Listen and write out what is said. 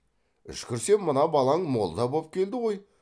үшкірсе мына балаң молда боп келді ғой